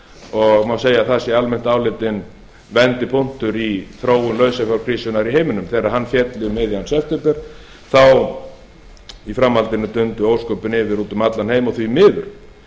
og má segja að það sé almennt álitinn vendipunktur í þróun lausafjárkrísunnar í heiminum þegar hann féll um miðjan september þá í framhaldinu dundu ósköpin yfir út um allan heim og því miður